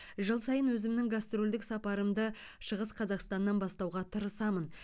жыл сайын өзімнің гастрольдік сапарымды шығыс қазақстаннан бастауға тырысамын